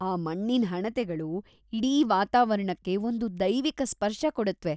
ಆ ಮಣ್ಣಿನ್‌ ಹಣತೆಗಳು ಇಡೀ ವಾತಾವರಣಕ್ಕೆ ಒಂದು ದೈವೀಕ ಸ್ಪರ್ಶ ಕೊಡುತ್ವೆ.